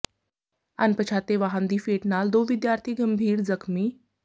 ਅਨਪਛਾਤੇ ਵਾਹਨ ਦੀ ਫੇਟ ਨਾਲ ਦੋ ਵਿਦਿਆਰਥੀ ਗੰਭੀਰ ਜ਼ਖ਼ਮੀ